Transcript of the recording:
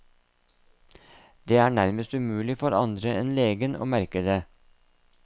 Det er nærmest umulig for andre enn legen å merke det.